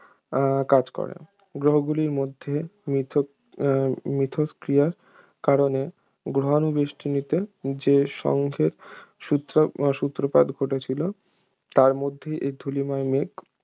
আহ কাজ করে গ্রহগুলোর মধ্যে মিথ মিথস্ক্রিয়ার কারণে গ্রহাণু বেষ্টনীতে যে সংঘের সূত্র~ সূত্রপাত ঘটেছিল তার মাধ্যেই এই ধূলিময়মেঘ